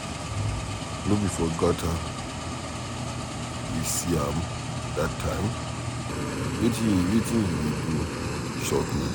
No be for gutter we see am dat time? Wetin he dey do shock me.